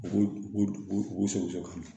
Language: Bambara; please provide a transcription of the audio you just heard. U sɔgɔsɔgɔ ka na